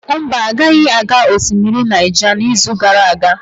Mba, agaghị aga osimiri Naija n'izu gara aga.